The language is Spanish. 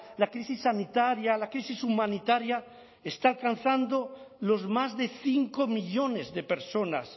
la crisis sanitaria la crisis humanitaria está alcanzando los más de cinco millónes de personas